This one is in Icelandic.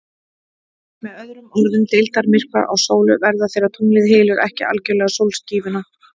Með öðrum orðum, deildarmyrkvar á sólu verða þegar tunglið hylur ekki algjörlega sólskífuna.